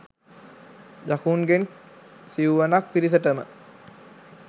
යකුන්ගෙන් සිව්වනක් පිරිසටම